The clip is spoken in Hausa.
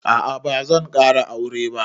A'a bazan ƙara aure ba